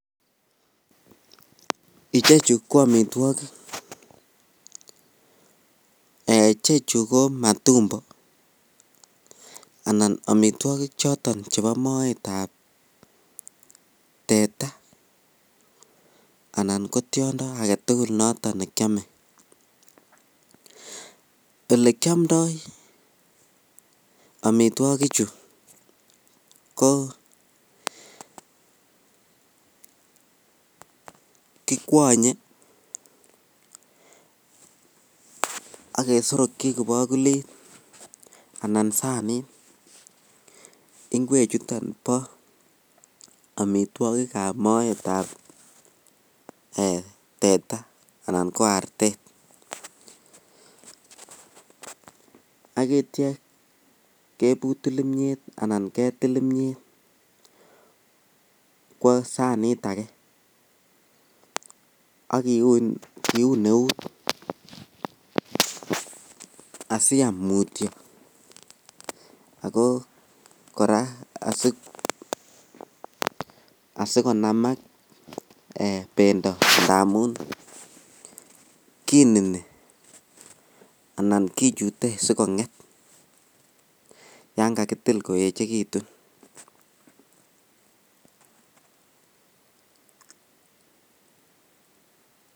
Ichechu ko amitwokik, Um ichechu ko matumbo anan amitwokik choton chebo moetab teta anan ko tiondo aketukul nekiome, elekiomndo omitwokichu ko kikwonye ak kesorokyi kibokulit anan sanit ing'wechuton bo amitwokikab moetab teta anan ko artet akityo kebutul kimnyet anan ketil imnyeet kwoo sanit akee ak kiun eut asiam mutyo ak ko kora asikonamak bendo ndamun kinini anan kichute sikonget yoon kakitil koechekitun.